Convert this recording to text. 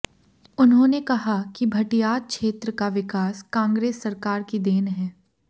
उन्होंने कहा कि भटियात क्षेत्र का विकास कांग्रेस सरकार की देन है